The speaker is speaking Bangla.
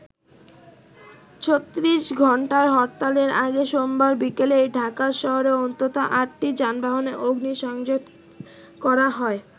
৩৬ ঘন্টার হরতালের আগে সোমবার বিকেলেই ঢাকা শহরে অন্তত আটটি যানবাহনে অগ্নিসংযোগ করা হয়।